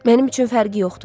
Mənim üçün fərqi yoxdur.